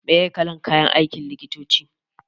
Me kalar kayan aikin likitoci?